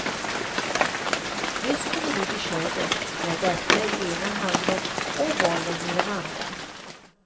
Nyss kom hon ut i köket med ett äpple i ena handen och bollen i den andra.